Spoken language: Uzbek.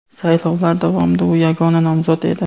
Saylovlar davomida u yagona nomzod edi.